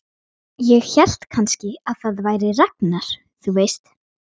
Ég hélt kannski að það væri Ragnar, þú veist.